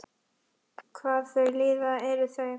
Hvað þau líða eru þau?